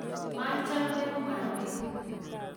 machame mwanik